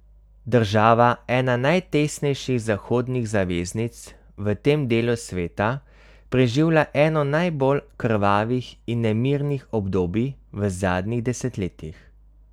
Država, ena najtesnejših zahodnih zaveznic v tem delu sveta, preživlja eno najbolj krvavih in nemirnih obdobij v zadnjih desetletjih.